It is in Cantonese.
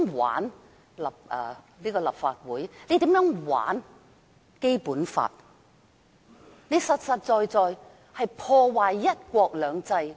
玩弄立法會，玩弄《基本法》，其實等於破壞"一國兩制"。